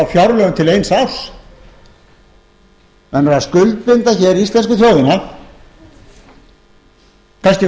fjárlögum til eins árs menn eru að skuldbinda hér íslensku þjóðina kannski um